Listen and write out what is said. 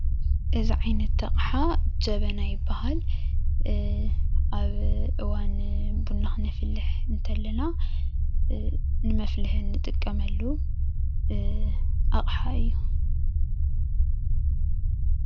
እዚ ዓይነት ኣቅሓ ጀበና ይባሃል፡፡ እ ኣብ እዋን ቡና ክነፍልሕ እንተለና እ ንመፍሊሒ እንጥቀለመሉ እ ኣቅሓ እዩ፡፡